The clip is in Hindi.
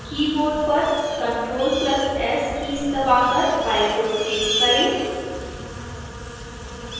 keyboard पर ctrl + s कीज़ दबाकर file को सेव करें